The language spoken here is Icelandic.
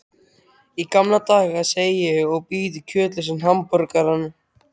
Í gamla daga, segi ég og bít í kjötlausan hamborgarann.